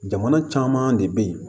Jamana caman de bɛ yen